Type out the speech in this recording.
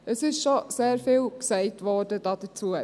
Es wurde schon sehr vieles dazu gesagt.